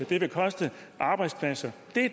det vil koste arbejdspladser